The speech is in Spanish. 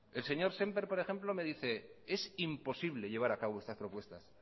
el señor sémper por ejemplo me dice es imposible llevar a cabo estas propuestas